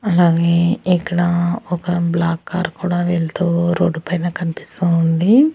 అలాగే ఇక్కడ ఒక బ్లాక్ కారు కూడా వెళ్తూ రోడ్డు పైన కన్పిస్తూ ఉంది.